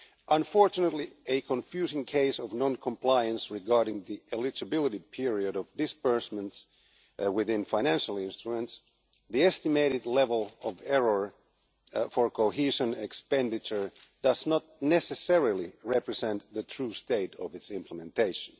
Unfortunately a confusing case of non compliance regarding the eligibility period of disbursements within financial instruments the estimated level of error for cohesion expenditure does not necessarily represent the true state of its implementation.